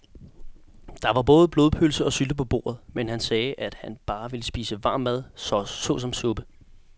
Der var både blodpølse og sylte på bordet, men han sagde, at han bare ville spise varm mad såsom suppe.